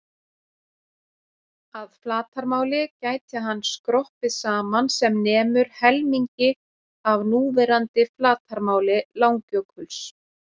Að flatarmáli gæti hann skroppið saman sem nemur helmingi af núverandi flatarmáli Langjökuls.